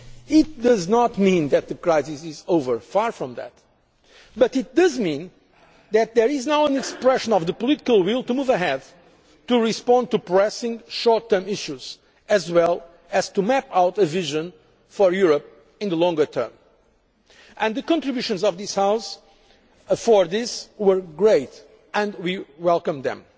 parts. It does not mean that the crisis is over, far from that, but it does mean that there is now an expression of the political will to move ahead, to respond to pressing short term issues, as well as to map out a vision of Europe in the longer term. The contributions this House has made to this end have been great and we welcome